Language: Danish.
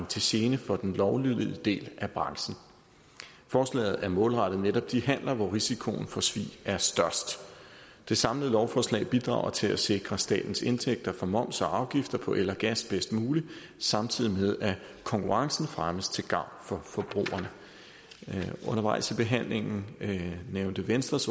til gene for den lovlydige del af branchen forslaget er målrettet netop de handler hvor risikoen for svig er størst det samlede lovforslag bidrager til at sikre statens indtægter fra moms og afgifter på el og gas bedst muligt samtidig med at konkurrencen fremmes til gavn for forbrugerne undervejs i behandlingen nævnte venstres